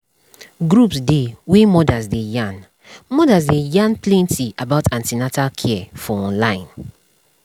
groups dey wey mothers dey yarn mothers dey yarn plenty about an ten atal care for online